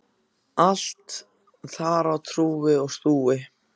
Allt þar á rúi og stúi.